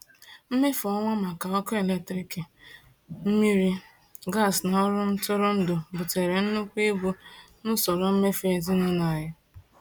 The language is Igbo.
Mmefu ọnwa maka ọkụ eletrik, mmiri, gas na ọrụ ntụrụndụ butere nnukwu ibu n’usoro mmefu ezinụlọ anyị.